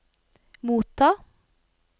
motta